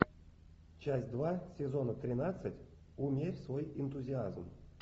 часть два сезона тринадцать умерь свой энтузиазм